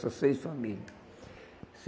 Só seis família.